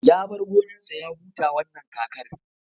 Ya bar gonar sa ya huta wannan kakar